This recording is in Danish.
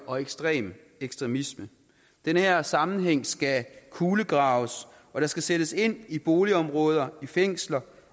og ekstrem ekstremisme den her sammenhæng skal kulegraves og der skal sættes ind i boligområder i fængsler